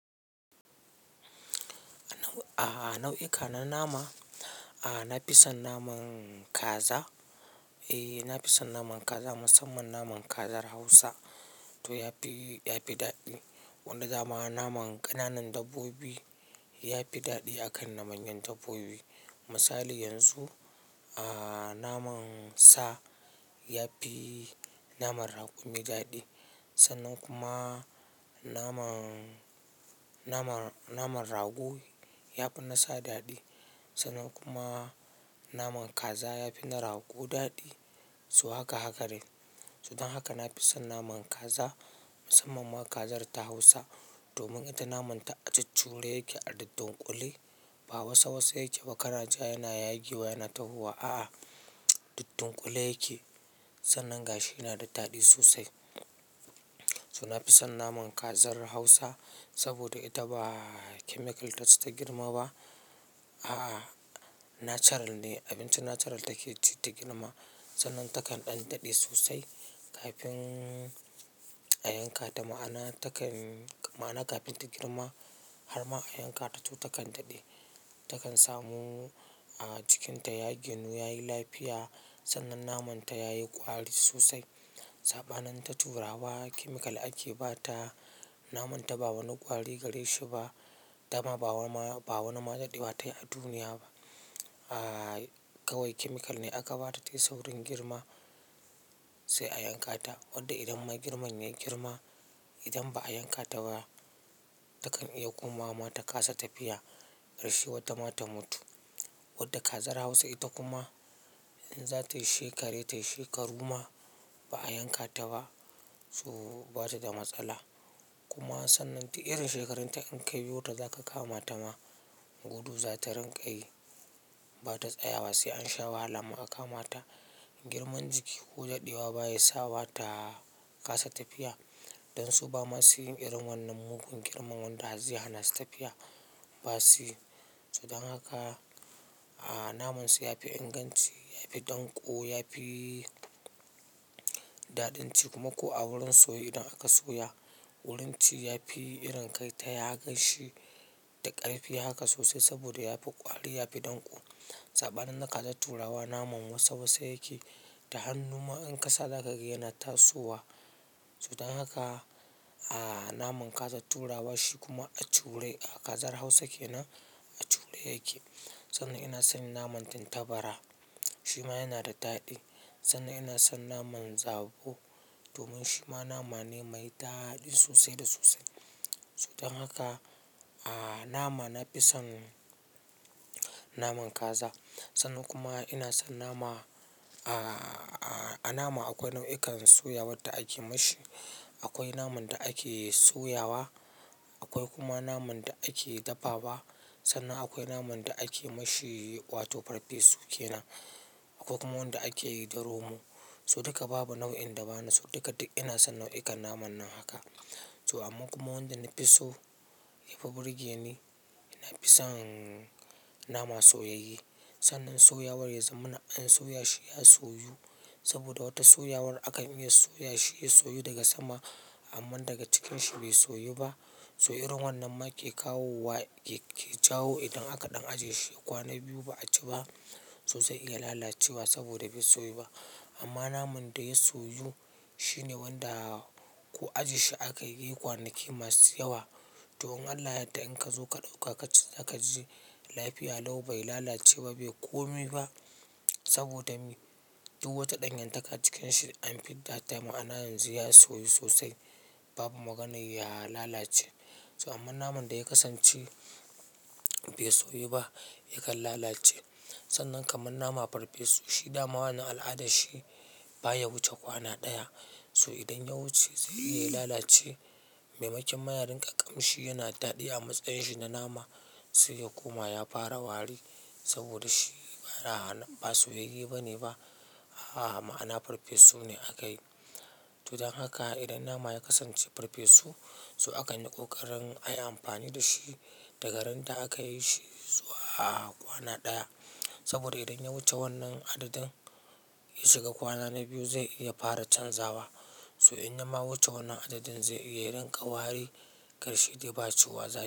Ah, nau'i ka na nama, a na fi son naman kaza. E, na fi son naman kaza, musamman naman kazar Hausa, to ya fi, ya fi daɗi. Wanda dama naman ƙananan dabbobi, ya fi daɗi akan na manyan dabbobi. Misali yanzu, a naman sa, ya fi naman raƙumi daɗi. Sannan kuma naman, naman, naman rago ya fi na sa, daɗi. Sannan kuma naman kaza ya fi na rago daɗi. So haka, haka dai. So dan haka na fi son naman kaza, musamman ma kazar ta Hausa. Domin ita naman ta a cucuure yake, a dauddunƙule. Ba wasa, wasa yake ba. Kana ja yana yagewa, yana tahowa. A'a duddunƙule yake. Sannan gashi yana da daɗi sosai. So na fi son naman kazar Hausa, saboda ita ba chemical taci ta girma ba. A'a, natural ne. Abinci natural take ci ta girma. Sannan takan ɗan daɗe sosai kafin a yanka ta. Ma'ana takan, ma'ana kafin ta girma har ma a yanka ta to takan daɗe. Takan samu a, jikin ta ya ginu yayi lafiya, sannan naman ta yayi ƙwari sosai, saɓanin ta turawa Chemical ake bata, naman ta ba wani ƙwari gare shi ba. Dama ba wani ma, ba wani ma daɗewa tai a duniya ba. A, kawai chemical ne aka ba ta tayi saurin girma, sai a yanka ta. Wadda idan ma girman yayi girma, idan ba a yanka ta ba, takan iya komawa ma ta kasa tafiya. Ƙarshe wata ma ta mutu. Wadda kazar Hausa ita kuma, in za ta yi shekare ta yi shekaru ma, ba a yanka ta ba to, bata da matsala. Kuma sannan du irin shekarun ta in ka biyo ta zaka kama ta ma, gudu za ta rinƙa yi. Ba ta tsayawa sai an sha wahala ma a kama ta. Girman jiki ko daɗewa baya sawa ba ta kasa tafiya. Don su ba masu yin irin wannan mugun girman wanda har zai hanasu tafiya. Ba su yi. To dan haka, a namun su yafi inganci, yafi ɗanƙo, yafi daɗin ci, kuma ko a wurin soye idan aka soya wurin ci yafi irin kai ta yagashshi da ƙarfi. Haka sosai saboda yafi ƙwari, yafi ɗanƙo. Saɓanin na kazar turawa naman wasa, wasa yake. Da hannu ma in kasa za ka ga yana tasowa. So dan haka, a naman kazar turawa shi kuma a cure. A, kazar hausa kenan, a cure yake. Sannan ina son naman tintabara. Shi ma yana da daɗi. Sannan ina son naman zabo, domin shi ma nama ne mai daɗi sosai da sosai. So dan haka, a nama na fi son naman kaza. Sannan kuma ina son nama. A, a nama akwai nau'ikan soya wadda ake mashi. Akwai naman da ake soyawa, akwai kuma naman da ake dafawa. Sannan akwai naman da ake mashi wato farfesu kenan. Akwai kuma wanda ake yi da romo. So duka babu nau'in da bani so. Duka du ina son nau'inkan naman nan haka. So amma kuma wanda na fi so, ya fi burge ni, ina fi son nama soyayye. Sannan soyawar ya zamana an soya shi ya soyu. Saboda wata soyawar akan iya soya shi ya soyu daga sama amman daga cikin shi bai soyu ba. So irin wannan ma ke kawowa, ke jawo idan aka ɗan ajiye shi ya kwana biyu ba a ci ba, so zai iya lalacewa saboda bai soyu ba. Amma naman da ya soyu shine wanda, ko ajje shi a ka yi zai yi kwanaki masu yawa. To in Allah ya yadda in ka zo ka ɗauka ka ci, zaka ji lafiya Lau bai lalace ba, bai komai ba. Saboda me? Duk wata ɗanyantaka cikin shi duk an fidda ta. Ma'ana yanzu ya soyu sosai. Babu maganar ya lalace. So amma naman da ya kasance bai soyu ba yakan lalace. Sannan kaman nama farfesu shi dama wannan al'ada shi baya wuce kwana ɗaya. So idan ya wuce zai iya lalace. Mai makinma yarinƙa ƙamshi yana daɗi amma tsayin shi na nama, sai ya koma ya fara wari saboda shi mara hana, ba soyayye bane ba. A, ma'ana farfesu ne aka yi. To dan haka, idan nama ya kasance farfesu, so akan yi ƙoƙarin ayi amfani da shi. Daga randa aka yi shi, zuwa kwana ɗaya. Saboda idan ya wuce wannan adadin, ya shiga kwana na biyu zai iya fara chanza wa. So in yama wuce wannan adadin zai iya rinƙa wari. Ƙarshe dai baciyyuwa zai.